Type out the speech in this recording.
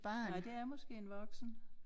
Nej det er måske en voksen